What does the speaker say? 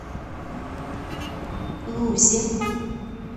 лузе